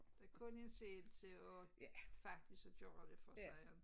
Der kun en selv til at faktisk at gøre det for sig